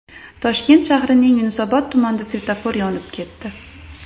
Toshkent shahrining Yunusobod tumanida svetofor yonib ketdi .